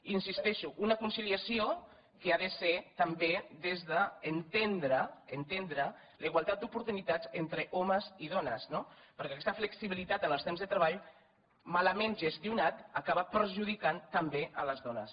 hi insisteixo una conciliació que ha de ser també des d’entendre entendre la igualtat d’oportunitats entre homes i dones no perquè aquesta flexibilitat en els temps de treball malament gestionada acaba perjudicant també les dones